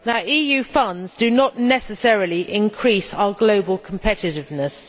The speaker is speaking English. EU funds do not necessarily increase our global competitiveness.